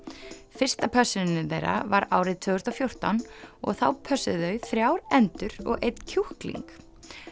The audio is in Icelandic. fyrsta pössunin þeirra var árið tvö þúsund og fjórtán og þá pössuðu þau þrjár endur og einn kjúkling